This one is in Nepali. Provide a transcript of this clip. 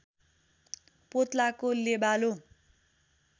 पोत्लाको लेबालो